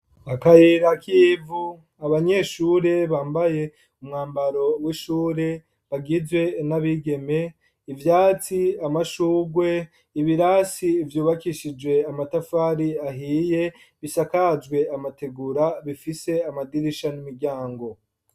Akayira k'ivu, abanyeshure bambaye umwambaro w'ishuri, bagizwe n'abigeme; ivyatsi, amashurwe, ibirasi vyubakishijwe amatafari ahiye, bisakajwe amategura, bifise amadirisha n'imiryango.